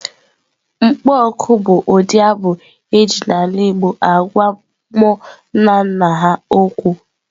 Mkpọ oku bụ ụdị abụ e ji n'ala igbo agwa mmụọ nna nna ha okwu.